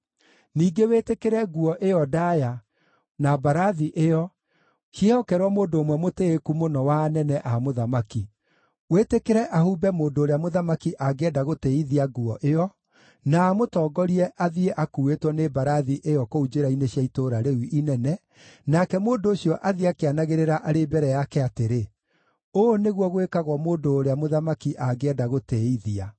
Ningĩ wĩtĩkĩre nguo ĩyo ndaaya, na mbarathi ĩyo, ciĩhokerwo mũndũ ũmwe mũtĩĩku mũno wa anene a mũthamaki. Wĩtĩkĩre ahumbe mũndũ ũrĩa mũthamaki angĩenda gũtĩĩithia nguo ĩyo, na amũtongorie athiĩ akuuĩtwo nĩ mbarathi ĩyo kũu njĩra-inĩ cia itũũra rĩu inene, nake mũndũ ũcio athiĩ akĩanagĩrĩra arĩ mbere yake atĩrĩ, ‘Ũũ nĩguo gwĩkagwo mũndũ ũrĩa mũthamaki angĩenda gũtĩĩithia.’ ”